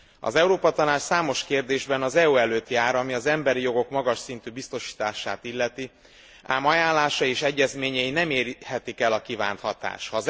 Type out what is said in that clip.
Az Európa Tanács számos kérdésben az EU előtt jár, ami az emberi jogok magas szintű biztosítását illeti, ám ajánlása és egyezményei nem érhetik el a kívánt hatást.